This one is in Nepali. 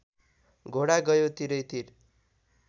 घोडा गयो तिरैतिर